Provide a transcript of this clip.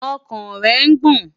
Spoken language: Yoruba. Ọkàn rẹ̀ ń gbọ̀n.